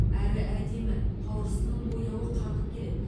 әрі әдемі қауырсынының бояуы қанық келеді